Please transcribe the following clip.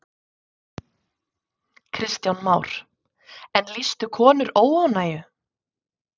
Kristján Már: En lýstu konur óánægju?